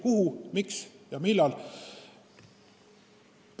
Kuhu, miks ja millal?